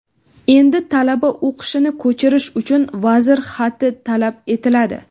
Endi talaba o‘qishini ko‘chirish uchun vazir xati talab etiladi.